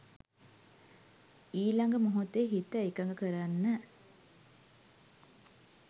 ඊළඟ මොහොතේ හිත එකඟ කරන්න